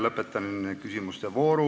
Lõpetan küsimuste vooru.